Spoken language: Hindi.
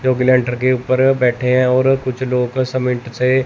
जो कि लेंटर के ऊपर बैठे हैं और कुछ लोग सीमेंट से।